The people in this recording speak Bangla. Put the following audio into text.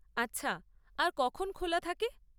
আচ্ছা, আর কখন খোলা থাকে?